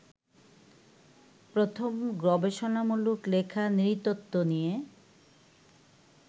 প্রথম গবেষণামূলক লেখা নৃতত্ত্ব নিয়ে